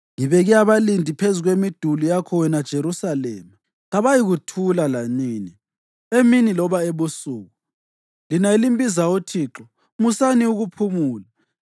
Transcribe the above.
Ngibeke abalindi phezu kwemiduli yakho wena Jerusalema; kabayikuthula lanini emini loba ebusuku. Lina elimbizayo uThixo, musani ukuphumula,